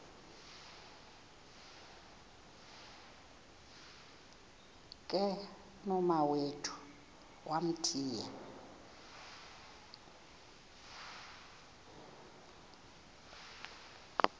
ke nomawethu wamthiya